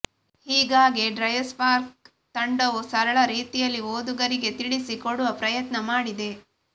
ಹೀಗಾಗಿ ಡ್ರೈವ್ಸ್ಪಾರ್ಕ್ ತಂಡವು ಸರಳ ರೀತಿಯಲ್ಲಿ ಓದುಗರಿಗೆ ತಿಳಿಸಿ ಕೊಡುವ ಪ್ರಯತ್ನ ಮಾಡಿದೆ